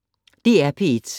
DR P1